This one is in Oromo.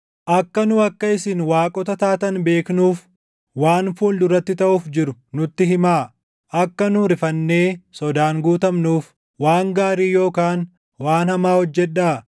akka nu akka isin waaqota taatan beeknuuf, waan fuul duratti taʼuuf jiru nutti himaa. Akka nu rifannee sodaan guutamnuuf, waan gaarii yookaan waan hamaa hojjedhaa.